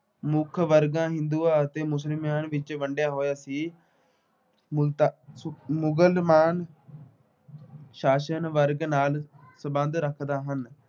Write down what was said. ਮੁੱਖ ਵਰਗਾਂ ਹਿੰਦੂਆਂ ਅਤੇ ਮੁਸਲਮਾਨਾਂ ਵਿੱਚ ਵੰਡਿਆ ਹੋਇਆ ਸੀ। ਮ ਅਹ ਮੁਸਲਮਾਨ ਸ਼ਾਸਨ ਵਰਗ ਨਾਲ ਸਬੰਧ ਰੱਖਦੇ ਸਨ।